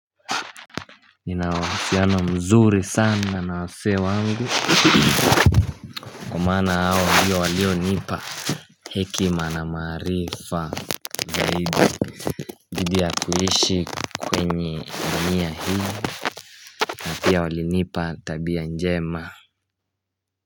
Ninawasyano mzuri sana na wase wangu Kumana hawa hiyo walio nipa hekima na marifa zaidi Gidi ya kuhishi kwenye ndunia hii na pia walinipa tabia njema.